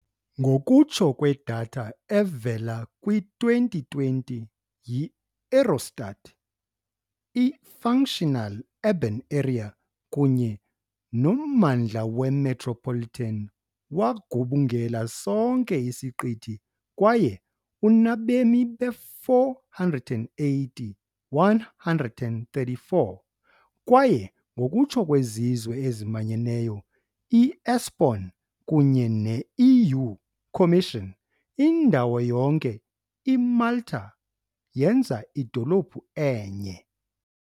Ngokutsho kwedatha evela kwi-2020 yi -Eurostat, i-Functional Urban Area kunye nommandla we-metropolitan wagubungela sonke isiqithi kwaye unabemi be-480,134, kwaye ngokutsho kweZizwe eziManyeneyo, i- ESPON kunye ne-EU Commission, "indawo yonke IMalta yenza idolophu enye".